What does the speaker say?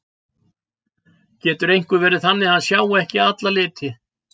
Getur einhver verið þannig að hann sjái ekki alla liti?